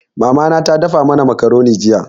Mama na ta dafa mana makaroni jiya.